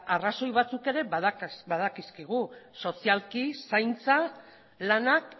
arrazoi batzuk ere badakizkigu sozialki zaintza lanak